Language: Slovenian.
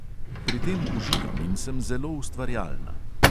Pri tem uživam in sem zelo ustvarjalna.